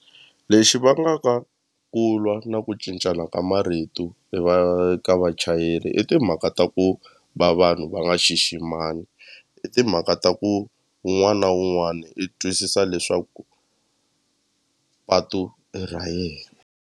Lexi vangaka ku lwa na ku cincana ka marito hi va eka vachayeri i timhaka ta ku va vanhu va nga xiximani i timhaka ta ku un'wana na un'wani i twisisa leswaku patu i ra yena.